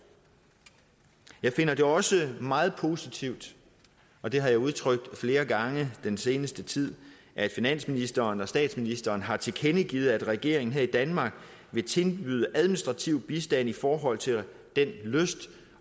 jeg finder det også meget positivt og det har jeg udtrykt flere gange den seneste tid at finansministeren og statsministeren har tilkendegivet at regeringen her i danmark vil tilbyde administrativ bistand i forhold til den lyst